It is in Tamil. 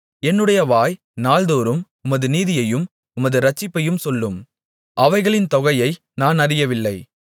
என்னுடைய வாய் நாள்தோறும் உமது நீதியையும் உமது இரட்சிப்பையும் சொல்லும் அவைகளின் தொகையை நான் அறியவில்லை